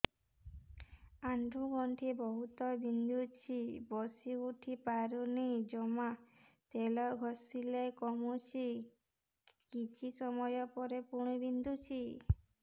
ଆଣ୍ଠୁଗଣ୍ଠି ବହୁତ ବିନ୍ଧୁଛି ବସିଉଠି ପାରୁନି ଜମା ତେଲ ଘଷିଲେ କମୁଛି କିଛି ସମୟ ପରେ ପୁଣି ବିନ୍ଧୁଛି